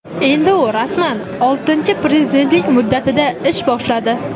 Endi u rasman oltinchi prezidentlik muddatida ish boshladi.